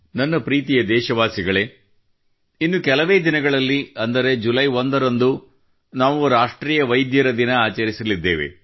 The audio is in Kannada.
ನನ್ನ ಪ್ರೀತಿಯ ದೇಶವಾಸಿಗಳೇ ಇನ್ನು ಕೆಲವೇ ದಿನಗಳಲ್ಲಿ ಅಂದರೆ ಜುಲೈ 1 ರಂದು ನಾವು ರಾಷ್ಟ್ರೀಯ ವೈದ್ಯರ ದಿನ ಆಚರಿಸಲಿದ್ದೇವೆ